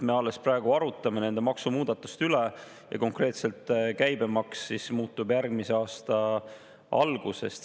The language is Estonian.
Me alles praegu arutame nende maksumuudatuste üle ja konkreetselt käibemaks muutub järgmise aasta algusest.